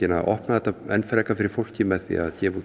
að opna þetta enn frekar fyrir fólki með því að gefa út